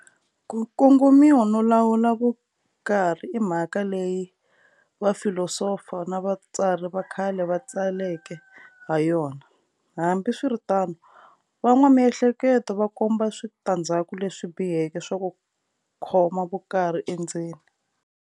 Ku kongomisa no lawula vukarhi imhaka leyi vafilosofa na vatsari vakhale va tsaleke hayona, hambi swiritano van'wa Miehleketo va komba switandzhaku leswi biheke swa ku khoma vukarhi endzeni.